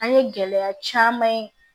An ye gɛlɛya caman ye